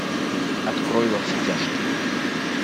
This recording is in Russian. открой во все тяжкие